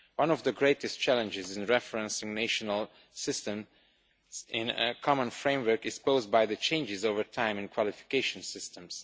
One of the greatest challenges in referencing national systems in a common framework is posed by the changes over time in qualification systems.